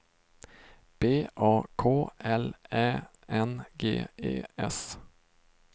B A K L Ä N G E S